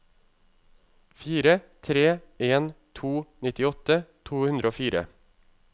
fire tre en to nittiåtte to hundre og fire